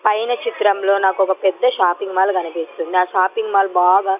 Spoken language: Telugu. పైన చిత్రంలో నాకొక పెద్ద షాపింగ్ మాల్ కనిపిస్తుంది ఆ షాపింగ్ మాల్ బాగా--